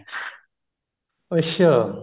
ਅੱਛਾ